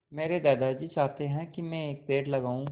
मेरे दादाजी चाहते हैँ की मै एक पेड़ लगाऊ